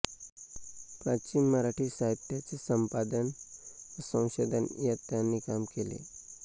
प्राचीन मराठी साहित्याचे संपादन व संशोधन यात त्यांनी काम केले